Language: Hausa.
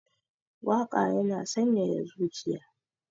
Waƙa yana sanyaya zuciya